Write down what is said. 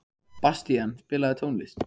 Bastían, spilaðu tónlist.